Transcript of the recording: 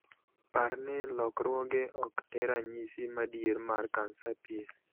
Parni lokruoge ok e ranyisi madier mar kansa pien.